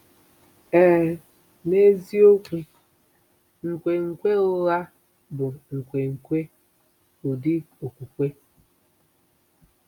Ee, n'eziokwu, nkwenkwe ụgha bụ nkwenkwe, ụdị okpukpe.